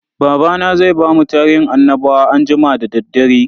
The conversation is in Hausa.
Babana zai bamu tarihin annabawa anjima da daddare.